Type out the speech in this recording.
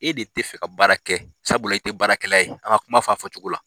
E de tɛ fɛ ka baara kɛ, sabula i tɛ baarakɛla ye, an ka kuma' fɔ a fɔ cogo la.